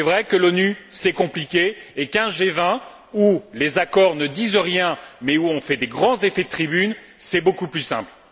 C'est vrai que l'ONU, c'est compliqué, et qu'un G20 où les accords ne disent rien, mais où on fait de grands effets de tribune, c'est beaucoup plus simple.